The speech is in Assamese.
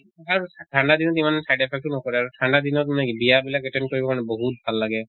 আৰু ঠান্দা দিনত ইমান side effect ও নকৰে আৰু ঠান্দা দিনত বিয়া বিলাক attend কৰিব কাৰণে বহুত ভাল লাগে।